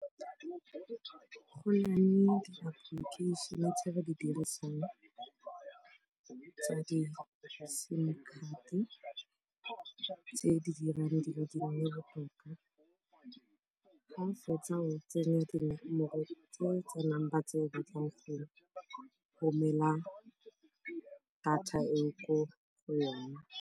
Go na le di-application tse ba di dirisang tsa di-sim card tse di dirang dilo di nne botoka. Fa o fetsa go tsenya dinomoro tse tsa number tse o batlang go romela data eo ko go yona.